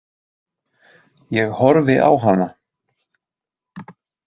Ég horfi á hana.